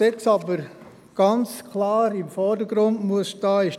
Jetzt muss aber ganz klar der Artikel 7 im Vordergrund stehen.